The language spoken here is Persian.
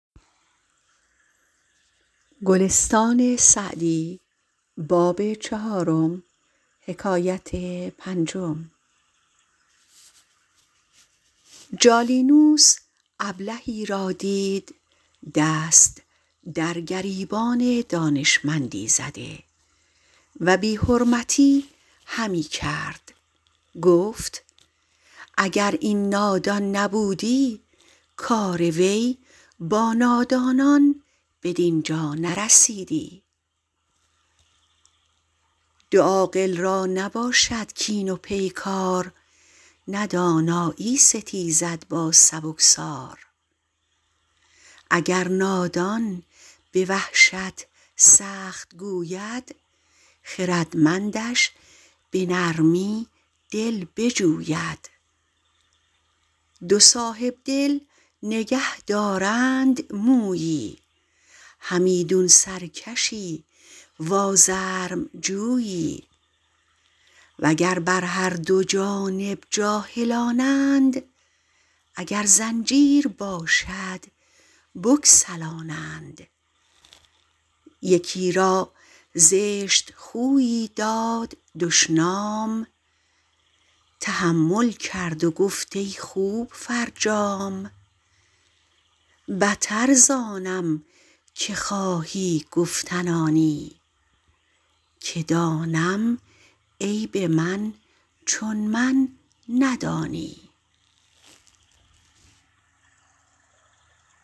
جالینوس ابلهی را دید دست در گریبان دانشمندی زده و بی حرمتی همی کرد گفت اگر این نادان نبودی کار وی با نادانان بدین جا نرسیدی دو عاقل را نباشد کین و پیکار نه دانایی ستیزد با سبکسار اگر نادان به وحشت سخت گوید خردمندش به نرمی دل بجوید دو صاحبدل نگه دارند مویی همیدون سرکشی و آزرم جویی و گر بر هر دو جانب جاهلانند اگر زنجیر باشد بگسلانند یکی را زشت خویی داد دشنام تحمل کرد و گفت ای خوب فرجام بتر زآنم که خواهی گفتن آنی که دانم عیب من چون من ندانی